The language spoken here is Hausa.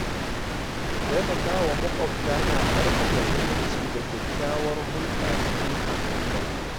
Taimakawa maƙwabta na ƙarfafa zumunci da kyakkyawar hulɗa cikin al'umma.